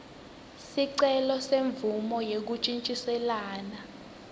sicelo semvumo yekuntjintjiselana